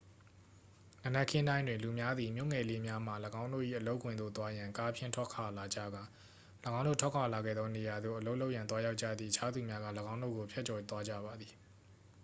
နံနက်ခင်းတိုင်းတွင် လူများသည် မြို့ငယ်လေးများမှ ၎င်းတို့၏အလုပ်ခွင်သို့သွားရန် ကားဖြင့် ထွက်ခွာလာကြကာ ၎င်းတို့ထွက်ခွာလာခဲ့သောနေရာသို့ အလုပ်လုပ်ရန်သွားရောက်ကြသည့် အခြားသူများက ၎င်းတို့ကိုဖြတ်ကျော်သွားကြပါသည်